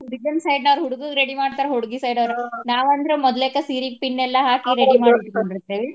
ಹುಡ್ಗನ side ದವ್ರ ಹುಡ್ಗನ ready ಮಾಡ್ತಾರ, ಹುಡ್ಗಿ side ವರು ನಾವ ಅಂದ್ರ ಮೊದ್ಲೇಕ ಸೀರಿಗೆ pin ಎಲ್ಲಾ ಹಾಕಿ ready ಮಾಡಿ ಇಟ್ಕೊಂಡಿರ್ತೆವಿ.